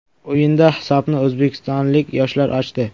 O‘yinda hisobni o‘zbekistonlik yoshlar ochdi.